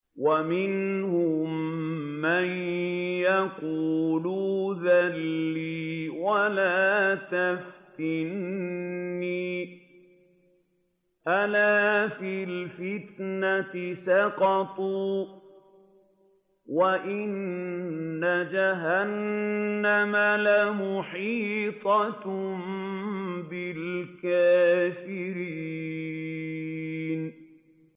وَمِنْهُم مَّن يَقُولُ ائْذَن لِّي وَلَا تَفْتِنِّي ۚ أَلَا فِي الْفِتْنَةِ سَقَطُوا ۗ وَإِنَّ جَهَنَّمَ لَمُحِيطَةٌ بِالْكَافِرِينَ